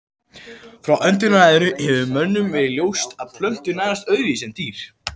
Frá öndverðu hefur mönnum verið ljóst að plöntur nærast öðruvísi en dýr.